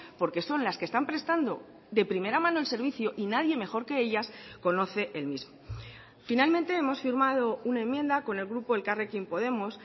porque son las que están prestando de primera mano el servicio y nadie mejor que ellas conoce el mismo finalmente hemos firmado una enmienda con el grupo elkarrekin podemos